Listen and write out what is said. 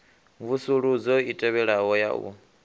mvusuludzo i tevhelaho ya u